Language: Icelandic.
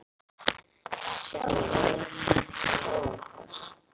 Sjáiði! Þetta er Skógafoss.